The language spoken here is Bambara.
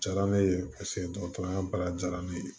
Jara ne ye paseke dɔgɔtɔrɔya baara diyara ne ye